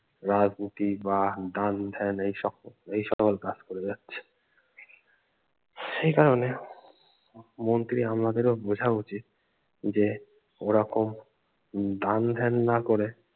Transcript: রাজনীতি বা দান ধ্যান এই সব এই সকল কাজ করে বেরোচ্ছে হম এই কারনে মন্ত্রীর আমলাদেরও ও বোঝা উচিত যে ওরকম দান ধ্যান না করে